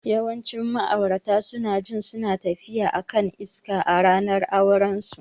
Yawancin ma'aurata suna jin suna tafiya a kan iska a ranar aurensu.